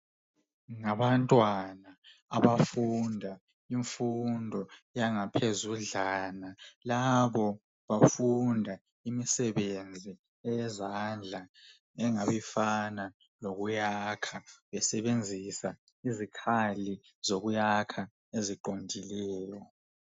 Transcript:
Ngabantwana abafunda imfundo yangaphezudlana labo bafunda imisebenzi yezandla engabe ifana lokuyakha besebenzisa izikhali zokuyakha eziqondileyo.